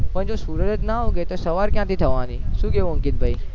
પણ સૂર્ય જ ના ઉગે તો સવાર ક્યાંથી થવાની શુ કેવું અંકિત ભાઈ